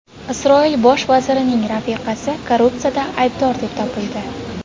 Isroil bosh vazirining rafiqasi korrupsiyada aybdor deb topildi.